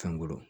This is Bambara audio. Fɛn golo